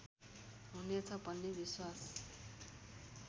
हुनेछ भन्ने विश्वास